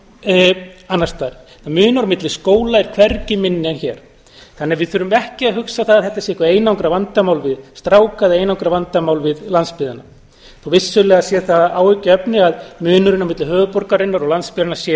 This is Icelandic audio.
annars staðar munur á milli skóla er hvergi minni en hér þannig að við þurfum ekki að hugsa það að að þetta sé eitthvað einangrað vandamál við stráka eða einangrað vandamál við landsbyggðina þó að vissulega sé það áhyggjuefni að munurinn á milli höfuðborgarinnar og landsbyggðarinnar sé